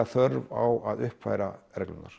þörf á að uppfæra reglurnar